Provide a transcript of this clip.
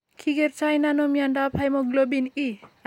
Kikerto nano mnyandoap hemoglobin E?